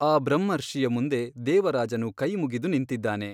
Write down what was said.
ಆ ಬ್ರಹ್ಮರ್ಷಿಯ ಮುಂದೆ ದೇವರಾಜನು ಕೈ ಮುಗಿದು ನಿಂತಿದ್ದಾನೆ.